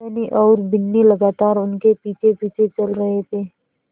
धनी और बिन्नी लगातार उनके पीछेपीछे चल रहे थे